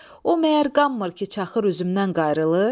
O məyər qanmır ki, çaxır üzümdən qayıdılır?